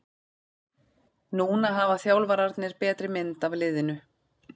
Núna hafa þjálfararnir betri mynd af liðinu.